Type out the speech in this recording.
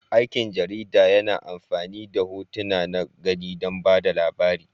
Aikin jarida yana amfani da hotuna na gani don ba da labari.